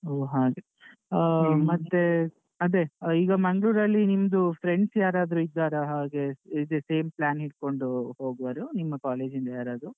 ಹೊ ಹಾಗೆ, ಆಹ್ ಮತ್ತೆ ಅದೆ ಈಗ ಮಂಗ್ಳೂರಲ್ಲಿ ನಿಮ್ದು friends ಯಾರಾದ್ರು ಇದ್ದಾರಾ ಹಾಗೆ, ಇದೆ same plan ಇಟ್ಕೊಂಡು ಹೋಗುವವರು ನಿಮ್ಮ college ಇಂದ ಯಾರಾದ್ರು?